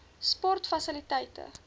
sportfasiliteite